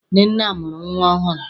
Nnenne mụrụ nnwa ọhụrụ.